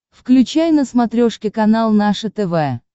включай на смотрешке канал наше тв